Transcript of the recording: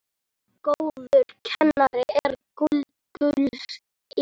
Góður kennari er gulls ígildi.